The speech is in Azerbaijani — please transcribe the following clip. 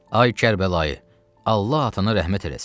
Ay Kərbəlayı, Allah atana rəhmət eləsin.